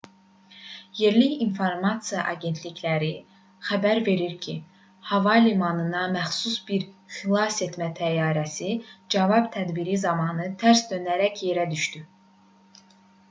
yerli informasiya agentlikləri xəbər verir ki hava limanına məxsus bir xilasetmə təyyarəsi cavab tədbiri zamanı tərs dönərək yerə düşüb